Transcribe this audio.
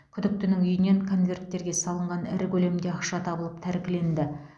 күдіктінің үйінен конверттерге салынған ірі көлемде ақша табылып тәркіленді